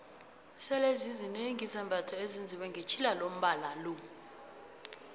sele zizinengi izambatho ezenziwe ngetjhilalombnalo